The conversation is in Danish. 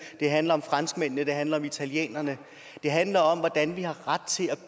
den handler om franskmændene den handler om italienerne den handler om hvordan vi har ret til at